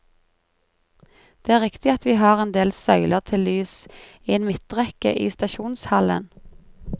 Det er riktig at vi har endel søyler til lys i en midtrekke i stasjonshallen.